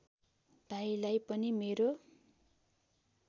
भाइलाई पनि मेरो